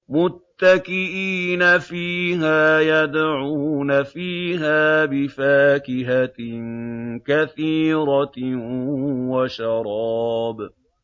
مُتَّكِئِينَ فِيهَا يَدْعُونَ فِيهَا بِفَاكِهَةٍ كَثِيرَةٍ وَشَرَابٍ